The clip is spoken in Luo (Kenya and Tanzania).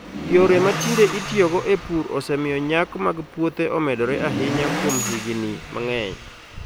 Yore ma tinde itiyogo e pur osemiyo nyak mag puothe omedore ahinya kuom higini mang'eny.